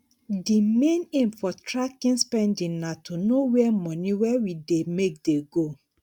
di main aim for tracking spending na to know where money wey we dey make dey go